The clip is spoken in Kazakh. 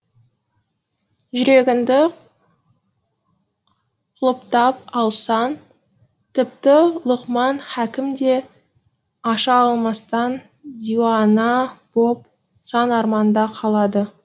жүрегіңді құлыптап алсаң тіпті лұқман хәкім де аша алмастан диуана боп сан арманда қалады